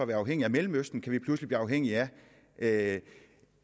være afhængige af mellemøsten kan vi pludselig blive afhængige af